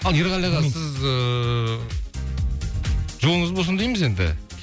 ал ерғали аға сіз ііі жолыңыз болсын дейміз енді